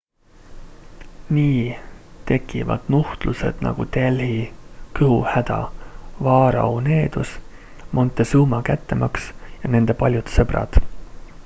nii tekivad nuhtlused nagu delhi kõhuhäda vaarao needus montezuma kättemaks ja nende paljud sõbrad